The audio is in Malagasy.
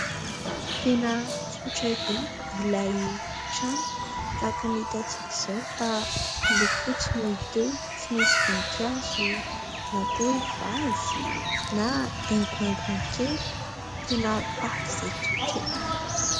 Tena tsotra be ilay trano, tahaka ny hitantsika izao fa loko fotsy no hita eo, tsy misy voninkazo na koa hoe vazy na haingohaingony kely, tena faran'izay tsotra e !.